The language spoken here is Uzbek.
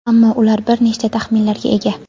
ammo ular bir nechta taxminlarga ega.